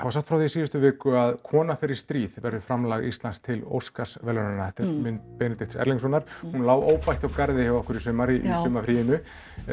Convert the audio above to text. var sagt frá því í síðustu viku að kona fer í stríð verði framlag Íslands til Óskarsverðlaunanna þetta er mynd Benedikts Erlingssonar hún lá óbætt hjá garði hjá okkur í sumar í sumarfríinu